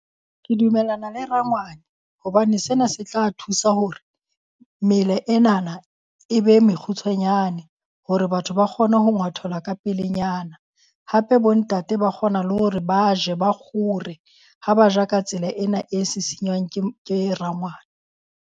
Ke dumellana le rangwane hobane sena se tla thusa hore mela enana e be mekgutshwanyane, hore batho ba kgone ho ngwathelwa ka pelenyana. Hape bo ntate ba kgona le hore ba je ba kgore ha ba ja ka tsela ena e sisinywang ke ke rangwane.